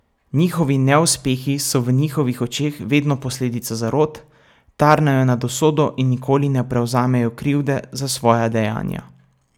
Njihovi neuspehi so v njihovih očeh vedno posledica zarot, tarnajo nad usodo in nikoli ne prevzamejo krivde za svoja dejanja.